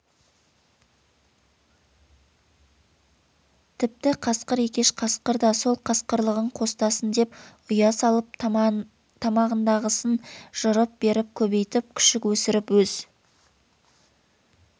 тіпті қасқыр екеш қасқыр да сол қасқырлығын қостасын деп ұя салып тамағындағысын жырып беріп көбейтіп күшік есіріп өз